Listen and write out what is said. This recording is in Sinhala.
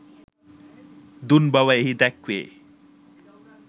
දුන් බව එහි දැක්වේ